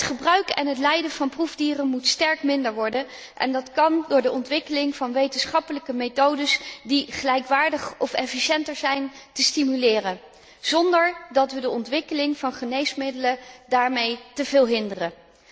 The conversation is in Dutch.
Zowel het gebruik als het lijden van proefdieren moeten sterk worden verminderd en dat kan door de ontwikkeling van wetenschappelijke methodes die gelijkwaardig of efficiënter zijn, te stimuleren, zonder dat we de ontwikkeling van geneesmiddelen daarmee teveel hinderen.